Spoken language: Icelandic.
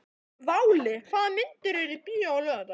Váli, hvaða myndir eru í bíó á laugardaginn?